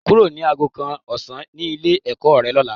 Kúrò ní aago kan ọ̀sán ní ilé-ẹ̀kọ́ rẹ lọ́la.